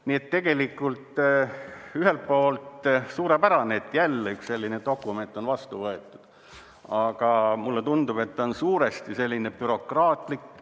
Nii et tegelikult ühelt poolt suurepärane, et jälle üks selline dokument on vastu võetud, aga mulle tundub, et see on suuresti bürokraatlik.